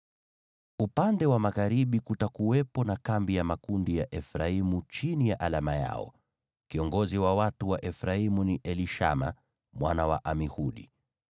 Upande wa magharibi kutakuwepo na kambi ya makundi ya Efraimu chini ya alama yao. Kiongozi wa watu wa Efraimu ni Elishama mwana wa Amihudi.